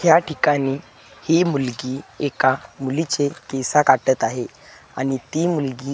या ठिकाणी ही मुलगी एका मुलीचे केसा काटत आहे आणि ती मुलगी --